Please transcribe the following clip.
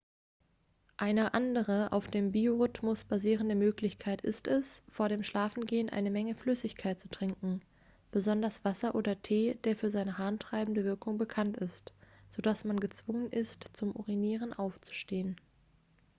eine andere auf dem biorhythmus basierende möglichkeit ist es vor dem schlafengehen eine menge flüssigkeit zu trinken besonders wasser oder tee der für seine harntreibende wirkung bekannt ist sodass man gezwungen ist zum urinieren aufzustehen